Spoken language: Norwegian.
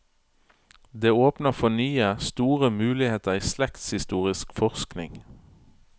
Det åpner for nye, store muligheter i slektshistorisk forskning.